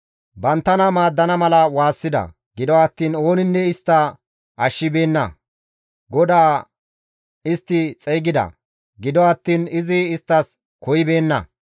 Banttana maaddana mala waassida; gido attiin ooninne istta ashshibeenna. GODAA istti xeygida; gido attiin izi isttas koyibeenna.